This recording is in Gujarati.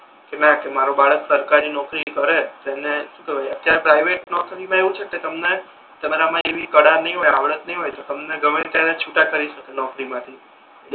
કે ના કે મારુ બાળક સરકારી નોકરી કરે તેને શુ કેહવાય અત્યારે પ્રિવેટ નોકરી મા એવુ છે કે તમને તમારા મા એવી કળા નહી હોય આવડત નહી હોય તમને ગમે ત્યારે છૂટા કરી શકે નોકરી માથી